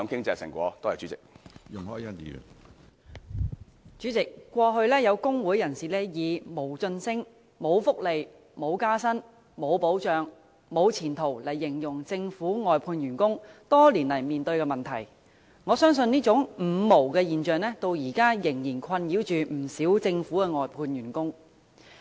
主席，過去有工會人士以"無晉升、無福利、無加薪、無保障、無前途"形容政府外判員工多年來面對的問題，我相信這種"五無"現象至今仍然困擾不少政府外判員工。